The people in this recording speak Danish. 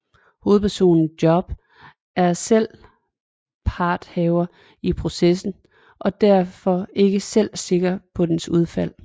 Hovedpersonen Job er selv parthaver i processen og derfor ikke selv sikker på dens udfald